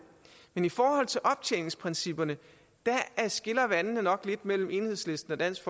men i forhold til optjeningsprincipperne skiller vandene nok lidt mellem enhedslisten og dansk